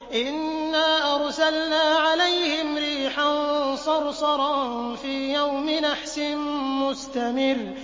إِنَّا أَرْسَلْنَا عَلَيْهِمْ رِيحًا صَرْصَرًا فِي يَوْمِ نَحْسٍ مُّسْتَمِرٍّ